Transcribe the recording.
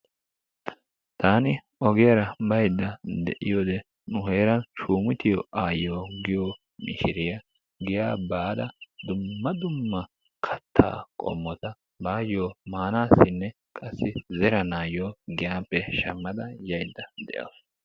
Taani ogiyaara baydda de"iyode nu heeran Shumutiyo aayyiyo giyo mishiriyaa giyaa baada dumma dumma kattaa qommota baayyo maanaassinne qassi zeranayyo giyaappe shammada yaydda de'awusu.